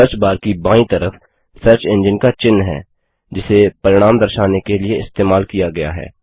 search bar की बायीं तरफ सर्च एंजिन का चिह्न है जिसे परिणाम दर्शाने के लिए इस्तेमाल किया गया है